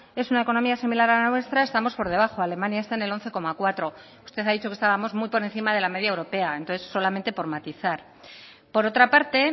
es una economía similar a la nuestra estamos por debajo alemania está en el once coma cuatro usted ha dicho que estábamos muy por encima de la media europea entonces solamente por matizar por otra parte